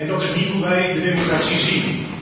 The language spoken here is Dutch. En dat is niet hoe wij de democratie zien.